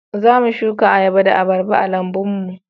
Za mu suka ayaba da abarba a lambun mu